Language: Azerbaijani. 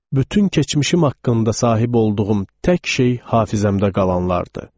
Bütün keçmişim haqqında sahib olduğum tək şey hafizəmdə qalanlardır.